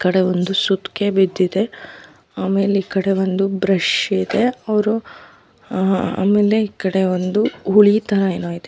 ಈಕಡೆ ಒಂದು ಸುತ್ತಿಗೆ ಬಿದ್ದಿದೆ ಆಮೇಲೆ ಈಕಡೆ ಒಂದು ಬ್ರಷ್ ಇದೆ ಅವ್ರು ಆಹ್ಹ್ ಆಮೇಲೆ ಈಕಡೆ ಒಂದು ಹುಳಿ ತರ ಏನೋ ಇದೆ.